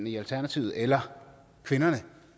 i alternativet eller kvinderne